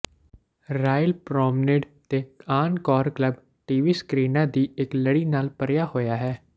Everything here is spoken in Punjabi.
ਰਾਇਲ ਪਰੌਮਨੇਡ ਤੇ ਆਨ ਕੌਰ ਕਲੱਬ ਟੀਵੀ ਸਕਰੀਨਾਂ ਦੀ ਇਕ ਲੜੀ ਨਾਲ ਭਰਿਆ ਹੋਇਆ ਹੈ